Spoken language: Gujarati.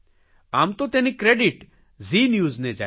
આમ તો તેની ક્રેડીટ ઝી ન્યુઝને જાય છે